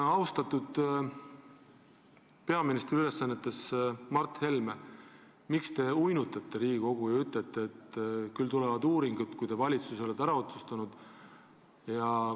Austatud peaministri ülesannetes Mart Helme, miks te uinutate Riigikogu ja ütlete, et küll tulevad uuringud, kui te valitsuses olete asja ära otsustanud?